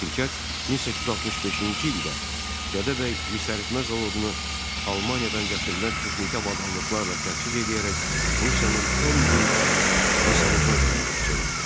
Şirkət 1865-ci ildə Gədəbəy misəritmə zavodunu Almaniyadan gətirilən texniki avadanlıqlarla təchiz eləyərək Rusiyanın ən böyük misəritmə zavoduna çevirdi.